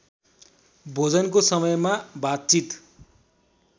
भोजनको समयमा बातचित